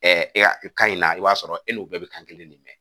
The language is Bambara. kan in na i b'a sɔrɔ e n'u bɛɛ bɛ kan kelen de mɛn